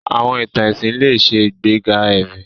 Àwọn ìtàn ẹ̀sìn lè ṣe ìgbéga ẹ̀mí.